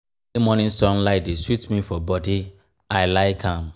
early morning sunlight dey sweet me for bodi i like am.